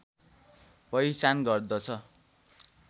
पहिचान गर्दछ